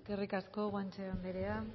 eskerrik asko guanche andrea